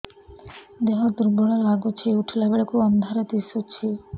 ଦେହ ଦୁର୍ବଳ ଲାଗୁଛି ଉଠିଲା ବେଳକୁ ଅନ୍ଧାର ଦିଶୁଚି